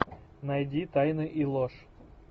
найди тайны и ложь